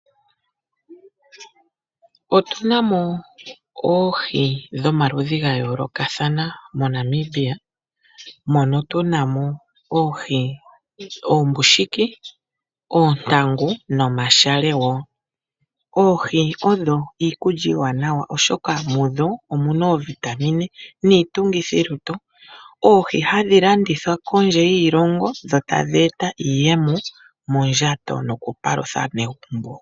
Otunamo oohi dhomaludhi gayolokathana moNamibia mono tunamo oohi oombushiki, oontangu, nomashale woo. Oohi odho iikulya iiwanawa oshoka mudho omuna oovitamine niitungithilutu. Oohi ohadhi landithwa kondje yiilongo dho tadheeta iiyemo mondjato nokupalutha aanegumbo.